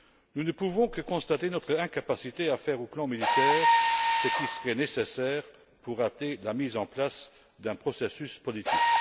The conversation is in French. Nous ne pouvons que constater notre incapacité à faire, sur le plan militaire, ce qui serait nécessaire pour hâter la mise en place d'un processus politique.